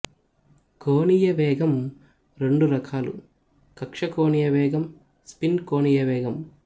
కోణీయ వేగం రెండు రకాలు కక్ష్య కోణీయ వేగం స్పిన్ కోణీయ వేగం